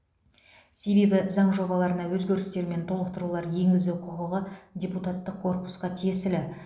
себебі заң жобаларына өзгерістер мен толықтырулар енгізу құқығы депутаттық корпусқа тиесілі